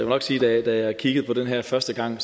nok sige at da jeg kiggede på det her første gang